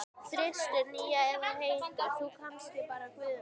þristur, nía eða heitir þú kannski bara Guðný?